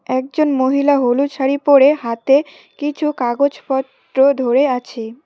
একজন মহিলা হলুদ শাড়ি পরে হাতে কিছু কাগজপত্র ধরে আছে।